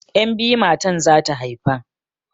Yan' biyu matan zata haifa.